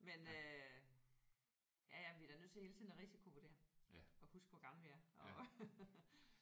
Men øh ja ja vi er da nødt til hele tiden at risikovurdere og huske hvor gamle vi er og